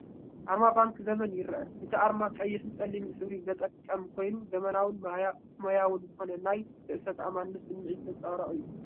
ኣርማ ባንኪ ዘመን ይርአ፣ እቲ ኣርማ ቀይሕን ጸሊምን ሕብሪ ዝጥቀም ኮይኑ፡ ዘመናውን ሞያውን ዝኾነ ናይ ርእሰ ተኣማንነትን ስምዒት ዘንጸባርቕ እዩ።